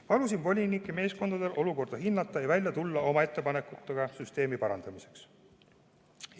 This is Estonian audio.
Palusin volinike meeskondadel olukorda hinnata ja välja tulla oma ettepanekutega süsteemi parandamiseks.